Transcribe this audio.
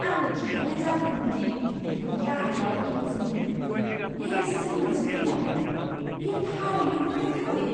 आंनो खिन्थानाय जादोंमोन दि बेनि गाहायाव एमेजननिख्रुइबो देरसिन मोनसे दैमा दं। बेयो थारैनो फोथायथावै!